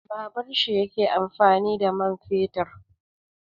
Babur shi yake amfani da mai fetur.